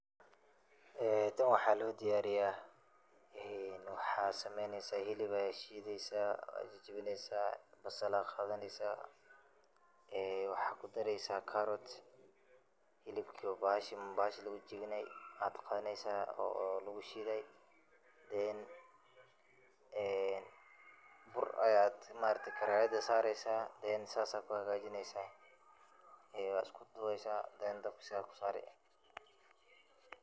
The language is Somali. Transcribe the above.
En taan waxa lodiyariya, een waxa sameyneysa xilub aya shideysa, wajajawineysa, basal ayay gawaneysa, ee waxa kudareysa carrot xilibki oo baxashi lagujajawinay aad qadaneysa oo lagushiday then een buur aad maarakte karayad sareysa then sidhas ayad kuxagajineysa, een wad iskudareysa then dabka iskusarii.